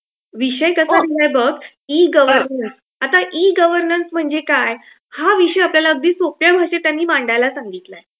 विषय कसा दिलाय बघ. E governance. आता ई गव्हरनन्स म्हणजे काय हा विषय आपल्याला अगदी सोप्या भाषेत त्यांनी मांडायला सांगितलं आहे.